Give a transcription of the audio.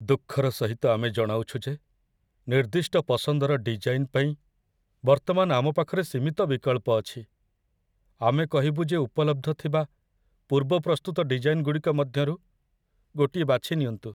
ଦୁଃଖର ସହିତ ଆମେ ଜଣାଉଛୁ ଯେ ନିର୍ଦ୍ଦିଷ୍ଟ ପସନ୍ଦର ଡିଜାଇନ ପାଇଁ ବର୍ତ୍ତମାନ ଆମ ପାଖରେ ସୀମିତ ବିକଳ୍ପ ଅଛି। ଆମେ କହିବୁ ଯେ ଉପଲବ୍ଧ ଥିବା ପୂର୍ବ ପ୍ରସ୍ତୁତ ଡିଜାଇନଗୁଡ଼ିକ ମଧ୍ୟରୁ ଗୋଟିଏ ବାଛିନିଅନ୍ତୁ।